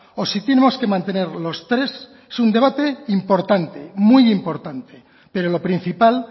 o si tenemos que mantener los tres es un debate importante muy importante pero lo principal